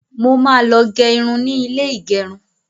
Mo máa lọ gẹ irun ni ilé ìgẹrun.